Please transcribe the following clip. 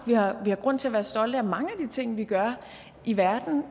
vi har grund til at være stolte af mange af de ting vi gør i verden